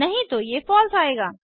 नहीं तो ये फलसे आएगा